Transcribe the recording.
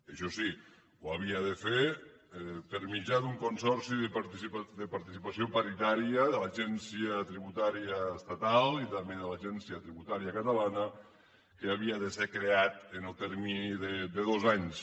això sí ho havia de fer per mitjà d’un consorci de participació paritària de l’agència tributària estatal i també de l’agència tributària catalana que havia de ser creat en el termini de dos anys